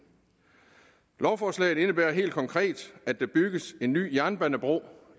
lovforslaget indebærer helt konkret at der bygges en ny jernbanebro